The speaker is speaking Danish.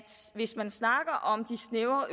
hvis man snakker om de snævre